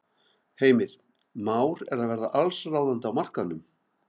Heimir: Már er að verða allsráðandi á markaðnum?